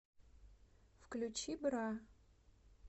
включи бра